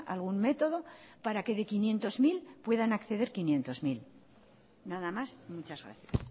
algún método para que de quinientos mil puedan acceder quinientos mil nada más muchas gracias